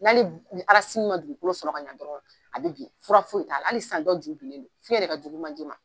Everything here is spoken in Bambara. wali ma dugukolo sɔrɔ ka ɲɛ dɔrɔn ale bɛ bin fura foyi t'a la hali sisan dɔ ju binlen don fiɲɛ de ka jugu manje ma